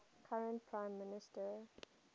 current prime minister